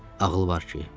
Ağıl var ki?